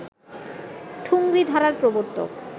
ঠুংরি ধারার প্রবর্তক